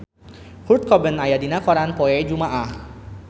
Kurt Cobain aya dina koran poe Jumaah